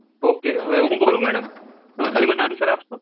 okay હવે હું બોલું મેડમ તમે ખાલી મને આન્સર આપશો